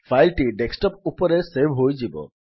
file ଟି desktop ଉପରେ save ହୋଇଯିବ